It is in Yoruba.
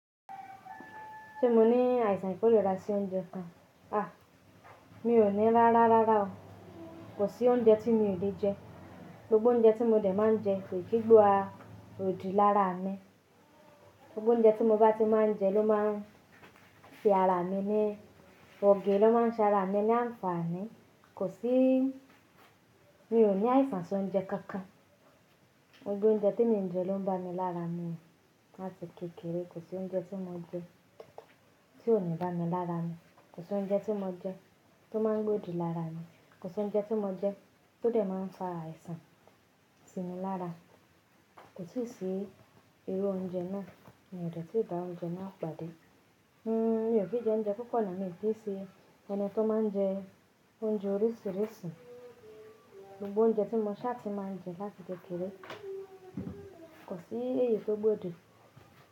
Ṣé mo ní àìsàn tó lè rà sí oúnjẹ kan? A! Mi ò ní rárárá o. Kò sí oúnjẹ tí mi ò lè jẹ. Gbogbo oúnjẹ tí mo dè máa ń jẹ kò kì í gbó odi lára mi. Gbogbo oúnjẹ tí mo bá ti máa ń jẹ ló máa ń fi ara mi ní òge ló máa ń sanra mi ní àǹfààní. Kò sí mi ò ní àìsàn sí oúnjẹ kankan. Gbogbo oúnjẹ tí mo jẹ ló ń ba mi lára mi láti kékeré. Kò sí oúnjẹ tí mo jẹ tí ò ní ba mi lára mu. Kò sí oúnjẹ tí mo jẹ tí ó máa ń gbé odi lára mi. Kò sí oúnjẹ tí mo jẹ tó lè máa ń fa àìsàn sí mi lára. Kò sí i ìru oúnjẹ náà, mi ò de tí bá oúnjẹ náà pàdé. N ò kí jẹ oúnjẹ pupo lo mí sí ẹni tí ó máa ń jẹ oúnjẹ oríṣìíríṣìí. Gbogbo oúnjẹ tí mo ṣá ti máa ń jẹ láti kékeré kò sí èyí tó gbé odi.